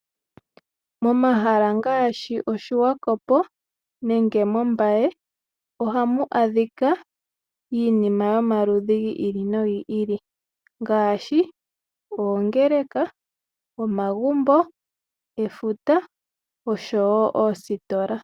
Momahala ngaashi oSwakopmund noWalvis Bay ohamu adhika iinima yomaludhi gI ili nogi ili ngaashi oongeleka, omagumbo, efuta oshowo oositola.